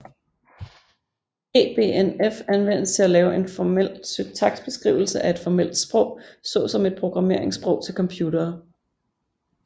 EBNF anvendes til at lave en formel syntaksbeskrivelse af et formelt sprog såsom et programmeringssprog til computere